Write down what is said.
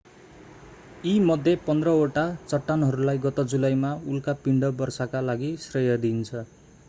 यी मध्ये पन्ध्र वटा चट्टानहरूलाई गत जुलाईमा उल्का पिण्ड वर्षाका लागि श्रेय दिइन्छ